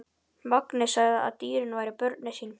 Mangi sagði að dýrin væru börnin sín.